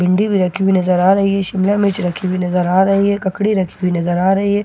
भिंडी भी रखी हुई नज़र आ रही है शिमला मिर्च रखी हुई नज़र आ रही है ककड़ी रखी हुई नज़र आ रही है।